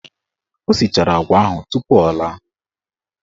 O sichara agwa ahụ tupu o laa.